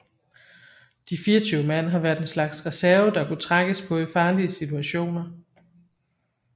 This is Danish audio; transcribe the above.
De 24 mand har været en slags reserve der kunne trækkes på i farlige situationer